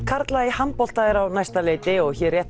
karla í handbolta er á næsta leyti og hér rétt